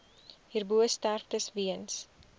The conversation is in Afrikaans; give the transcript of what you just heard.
hierbo sterftes weens